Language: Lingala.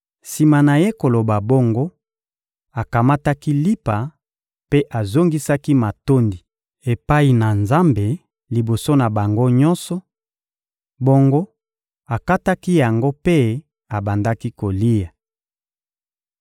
Sima na ye koloba bongo, akamataki lipa mpe azongisaki matondi epai na Nzambe liboso na bango nyonso; bongo akataki yango mpe abandaki kolia.